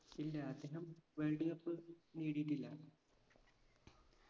ഇല്ല അദ്ദേഹം world cup നേടിയിട്ടില്ല